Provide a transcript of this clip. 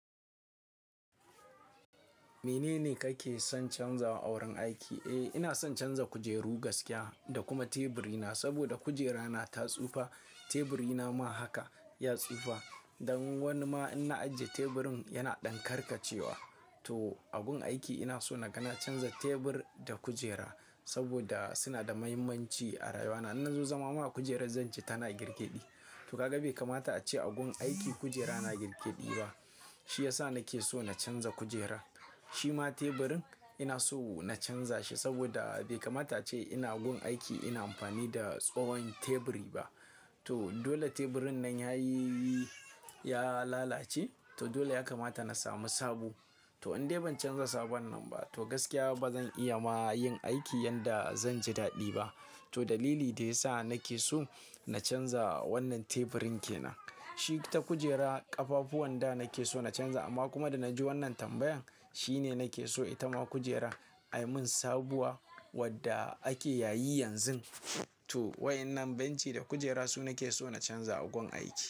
Menene kake son canzawa a wurin aiki? Eh, ina son canza kujeru gaskiya da kuma teburina saboda kujerana ta tsufa. Teburina ma haka ya tsufa. Dan wani ma in na ajiye teburin yana ɗan karkace wa. To, a gun aiki ina so na ga na canza tebur da kujera saboda suna da mahimmanci a rayuwana. Inna zo zama ma akujerar zanji tana girgeɗi. To kaga bai kamata a ce a gun aiki kujera na girgeɗi ba. Shi ya sa nake so na canza kujera. Shi ma teburin ina so na canza shi saboda bai kamata ace ina gun aiki ina amfani da tsowon teburi ba. To, dole teburin nan ya yi, ya lalace. To dole ya kamata na sami sabo. To in dai ban canza sabon nan ba to gaskiya ba zan iya ma yin aiki yanda zan ji daɗi ba. To dalili da ya sa nake so na canza wannan teburin ke nan. Shi ta kujera ƙafafu wanda nake so na canza amma kuma da na ji wannan tambayan shine nake so ita ma kujerar ai mun sabuwa wadda ake yayi yanzu. To, wa'ennan benci da kujera su nake so na canza a gun aiki.